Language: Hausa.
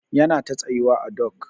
Yana ta tsayuwa à dok.